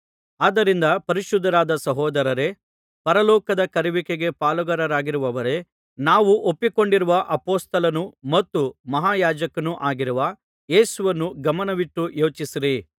ಆದ್ದರಿಂದ ಪರಿಶುದ್ಧರಾದ ಸಹೋದರರೇ ಪರಲೋಕದ ಕರೆಯುವಿಕೆಗೆ ಪಾಲುಗಾರರಾಗಿರುವವರೇ ನಾವು ಒಪ್ಪಿಕೊಂಡಿರುವ ಅಪೊಸ್ತಲನೂ ಮತ್ತು ಮಹಾಯಾಜಕನೂ ಆಗಿರುವ ಯೇಸುವನ್ನು ಗಮನವಿಟ್ಟು ಯೋಚಿಸಿರಿ